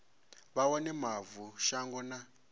vha wane mavu shango na